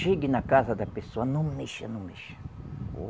Chegue na casa da pessoa, não mexa, não mexa.